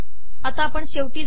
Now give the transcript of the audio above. आता शेवटाला जाऊ